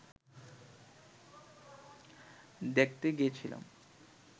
দেখতে গিয়েছিলাম